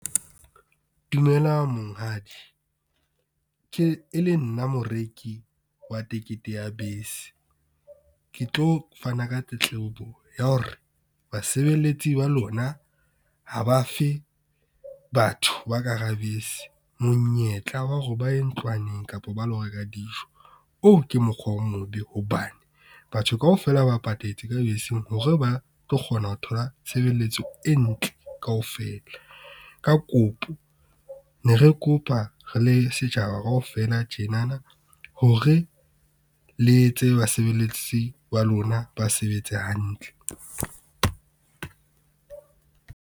Dumelang monghadi e le nna moreki wa tekete ya bese. Ke tlo fana ka tletlebo ya hore basebeletsi ba lona ha ba fe batho ba ka hara bese monyetla wa hore ba ye ntlwaneng kapa ba lo reka dijo. Oo ke mokgwa o mobe hobane batho kaofela ba patetse ka beseng hore ba tlo kgona ho thola tshebeletso e ntle kaofela. Ka kopo ne re kopa re le setjhaba kaofela tjenana hore, le etse basebeletsi ba lona ba sebetse hantle.